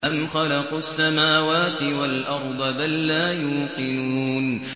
أَمْ خَلَقُوا السَّمَاوَاتِ وَالْأَرْضَ ۚ بَل لَّا يُوقِنُونَ